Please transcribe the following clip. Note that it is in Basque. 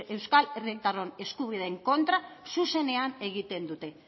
euskal herritarron eskubideen kontra zuzenean egiten dute